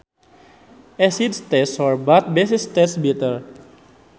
Acids taste sour but bases taste bitter